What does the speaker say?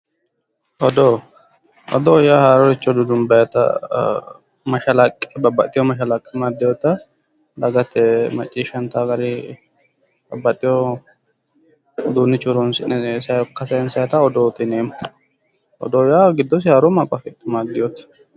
Odoo, odoo yaa haarorichcho dudumbaayiita mashalaqqe babbaxxeyo mashaqqe amadddeyota dagate maacciishshanta gari babbaxxewo uduunnichcho horoonsi'ne sokka sayiinsayita odoote yineemmo. Odoo yaa giddose haaro maaqo afidheewote.